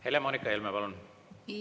Helle-Moonika Helme, palun!